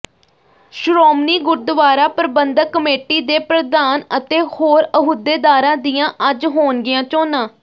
Shiromani Gurdwara Parbandhak committee ਦੇ ਪ੍ਰਧਾਨ ਅਤੇ ਹੋਰ ਅਹੁਦੇਦਾਰਾਂ ਦੀਆਂ ਅੱਜ ਹੋਣਗੀਆਂ ਚੋਣਾਂ